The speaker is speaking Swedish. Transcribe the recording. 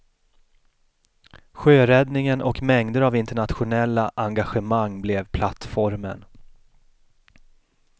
Sjöräddningen och mängder av internationella engagemang blev plattformen.